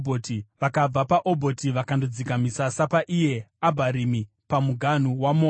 Vakabva paObhoti vakandodzika misasa paIye Abharimi, pamuganhu weMoabhu.